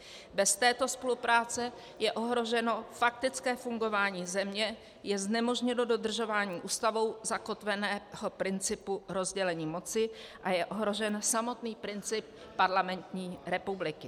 Bez této spolupráce je ohroženo faktické fungování země, je znemožněno dodržování Ústavou zakotveného principu rozdělení moci a je ohrožen samotný princip parlamentní republiky.